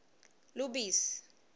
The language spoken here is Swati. lubisi